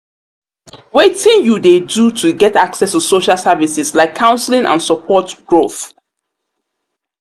wetin you dey do to get access to social services like counseling and support growth.